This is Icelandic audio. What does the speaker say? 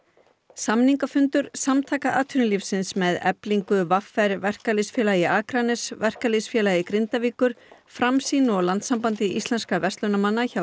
samningafundur Samtaka atvinnulífsins með Eflingu v r Verkalýðsfélagi Akraness Verkalýðsfélagi Grindavíkur Framsýn og Landssambandi íslenskra verslunarmanna hjá